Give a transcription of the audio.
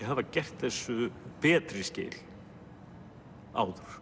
hafa gert þessu betri skil áður